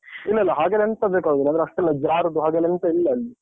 ಇಲ್ಲ, ಇಲ್ಲ ಹಾಗೆಲ್ಲ ಎಂತ ಬೇಕಾಗುದಿಲ್ಲ ಅಂದ್ರೆ ಅಷ್ಟೆಲ್ಲ ಜಾರುದು ಹಾಗೆಲ್ಲ ಎಂತ ಇಲ್ಲ ಅಲ್ಲಿ.